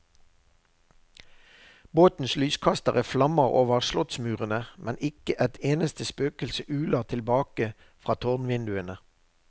Båtens lyskastere flammer over slottsmurene, men ikke et eneste spøkelse uler tilbake fra tårnvinduene.